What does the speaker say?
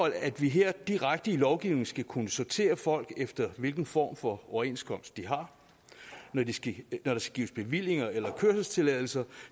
at vi her direkte i lovgivningen skal kunne sortere folk efter hvilken form for overenskomst de har når der skal gives bevillinger eller kørselstilladelser